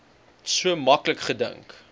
so maklik gedink